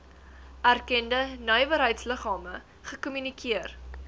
erkende nywerheidsliggame gekommunikeer